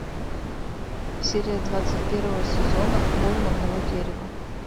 серия двадцать первого сезона холм одного дерева